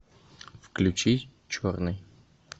включи черный